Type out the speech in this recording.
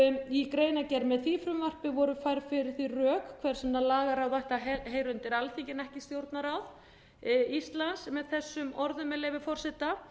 í greinargerð með því frumvarpi voru færð fyrir því rök hvers vegna lagaráð ætti að heyra undir alþingi en ekki stjórnarráð íslands með þessum orðum með leyfi forseta